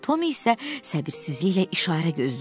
Tom isə səbirsizliklə işarə gözləyirdi.